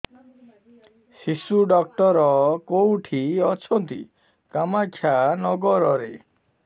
ଶିଶୁ ଡକ୍ଟର କୋଉଠି ଅଛନ୍ତି କାମାକ୍ଷାନଗରରେ